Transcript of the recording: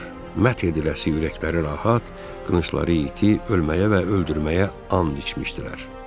Mət ediləsi ürəkləri rahat, qılıncları iti, ölməyə və öldürməyə and içmişdilər.